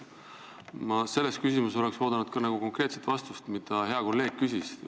Ma ootasin selles küsimuses konkreetset vastust küsimusele, mille hea kolleeg esitas.